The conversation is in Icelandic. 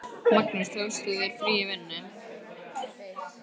Magnús: Tókst þú þér frí í vinnunni?